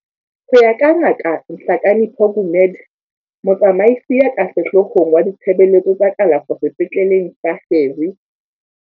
Ho ya ka Ngaka Nhlakanipho Gumede, motsamaisi ya ka sehloohong wa Ditshebeletso tsa Kalafo Sepetleleng sa Harry.